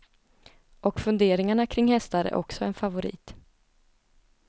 Och funderingarna kring hästar är också en favorit.